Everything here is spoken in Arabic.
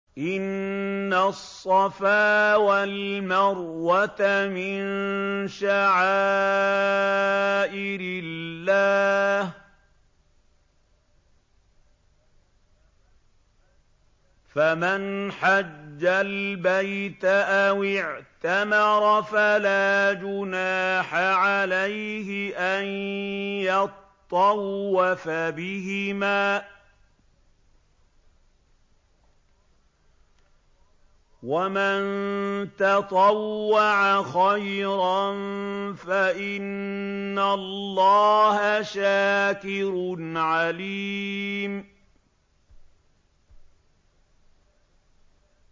۞ إِنَّ الصَّفَا وَالْمَرْوَةَ مِن شَعَائِرِ اللَّهِ ۖ فَمَنْ حَجَّ الْبَيْتَ أَوِ اعْتَمَرَ فَلَا جُنَاحَ عَلَيْهِ أَن يَطَّوَّفَ بِهِمَا ۚ وَمَن تَطَوَّعَ خَيْرًا فَإِنَّ اللَّهَ شَاكِرٌ عَلِيمٌ